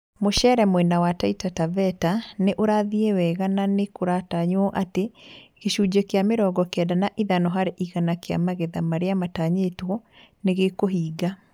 Mũcere mwena wa Taita Taveta nĩ ũrathiĩ wega na nĩ kũratanywo atĩ gĩcunjĩ kĩa mĩrongo kenda na ithano hari igana kia magetha marĩa matanyĩtwo nĩ gĩkũhinga